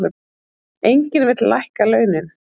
Enginn vill lækka launin.